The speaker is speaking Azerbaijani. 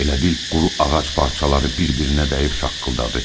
Elə bil quru ağac parçaları bir-birinə dəyib şaqqıldadı.